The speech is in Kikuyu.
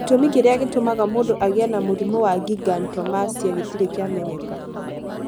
Gĩtũmi kĩrĩa gĩtũmaga mũndũ agĩe na mũrimũ wa gigantomastia gĩtirĩ kĩamenyeka.